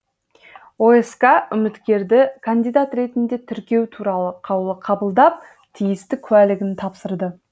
оск үміткерді кандидат ретінде тіркеу туралы қаулы қабылдап тиісті куәлігін тапсырды